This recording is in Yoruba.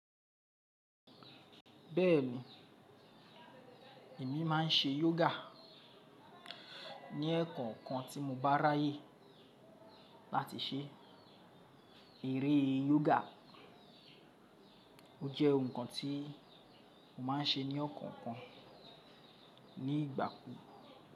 Bẹ́ẹ̀ni, èmi máa ń ṣe yoga, ní ẹ̀ẹ̀kan kan tí mo bá ráyè láti ṣe, eré yoga. Ó jẹ́ ohun kan tí, mo máa ń ṣe ní ọ̀kọ̀ọ̀kan, ní ìgbà kú.